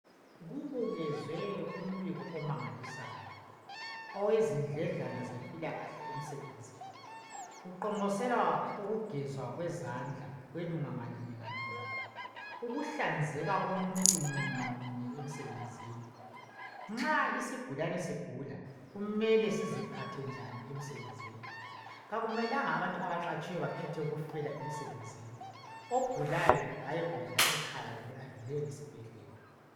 Kubukezwe umbiko omangalisayo owezindledlana zempilalakahle emisebenzini. Kuqonqoselwa ukugezwa kwezandla kwelunga linye ngalinye, ukuhlanzeka komuntu munye ngamunye emisebenzini. Akumelanga abantu abaqhatshiweyo bakhethe ukufela emisebenzini, ogulayo kayegulela ekhaya kumbe adlulele ngesibhedlela.